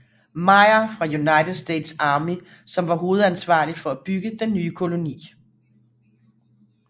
Meyer fra United States Army som var hovedansvarlig for at bygge den nye koloni